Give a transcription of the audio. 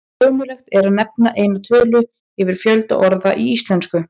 Ómögulegt er að nefna eina tölu yfir fjölda orða í íslensku.